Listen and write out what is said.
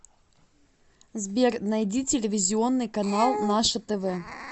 сбер найди телевизионный канал наше тв